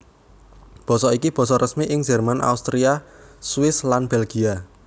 Basa iki basa resmi ing Jerman Austria Swiss lan Belgia